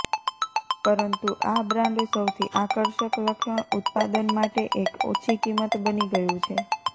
પરંતુ આ બ્રાન્ડ સૌથી આકર્ષક લક્ષણ ઉત્પાદન માટે એક ઓછી કિંમત બની ગયું છે